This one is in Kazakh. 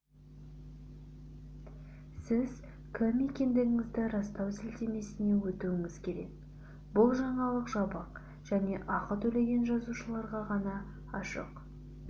сіз кім екендігіңізді растау сілтемесіне өтуіңіз керек бұл жаңалық жабық және ақы төлеген жазылушыларға ғана ашық